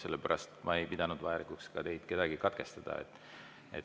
Sellepärast ma ei pidanud vajalikuks ka kedagi teist katkestada.